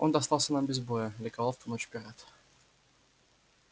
он достался нам без боя ликовал в ту ночь пират